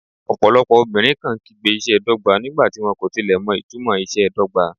Ọ̀pọ̀lọpọ̀ obìnrin kàn án kígbe ìṣe dọ́gba nígbà tí wọ́n kò tilẹ̀ mọ ìtumò ìṣe dọ́gba.